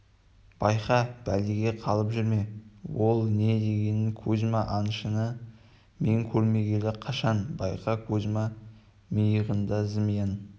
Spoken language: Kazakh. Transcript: байқа бәлеге қалып жүрме ол не дегенің кузьма аңшыны мен көрмегелі қашан байқа кузьма миығында зымиян